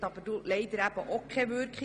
Diese zeigte aber leider keine Wirkung.